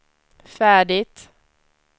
färdigt